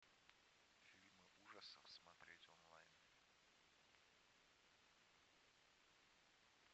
фильмы ужасов смотреть онлайн